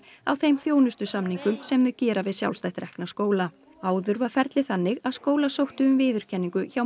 á þeim þjónustusamningum sem þau gera við sjálfstætt rekna skóla áður var ferlið þannig að skólar sóttu um viðurkenningu hjá